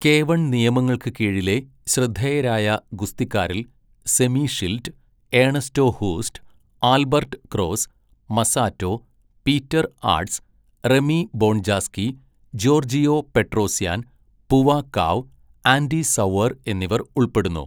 K one നിയമങ്ങൾക്ക് കീഴിലെ ശ്രദ്ധേയരായ ഗുസ്തിക്കാരിൽ Semmy Schilt, Ernesto Hoost, Albert Kraus, Masato, Peter Aerts, Remy Bonjasky, Giorgio Petrosyan, Buakaw, Andy Souwer എന്നിവർ ഉൾപ്പെടുന്നു.